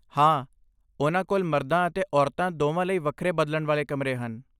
ਹਾਂ, ਉਨ੍ਹਾਂ ਕੋਲ ਮਰਦਾਂ ਅਤੇ ਔਰਤਾਂ ਦੋਵਾਂ ਲਈ ਵੱਖਰੇ ਬਦਲਣ ਵਾਲੇ ਕਮਰੇ ਹਨ।